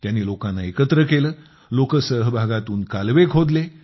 त्यांनी लोकांना एकत्र केलं लोकसहभागातून कालवे खोदले